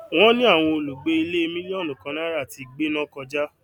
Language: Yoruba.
wón ní àwọn olùgbé ilé mílíọnù kan náírà ti gbéná kọjà